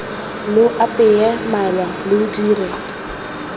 lo apeye malwa lo dire